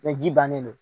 Ni ji bannen do